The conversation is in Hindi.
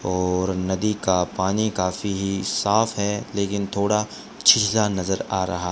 और नदी का पानी काफी ही साफ है लेकिन थोड़ा छिछला नजर आ रहा--